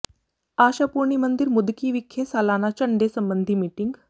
ਆਸ਼ਾ ਪੂਰਨੀ ਮੰਦਿਰ ਮੁੱਦਕੀ ਵਿਖੇ ਸਾਲਾਨਾ ਝੰਡੇ ਸਬੰਧੀ ਮੀਟਿੰਗ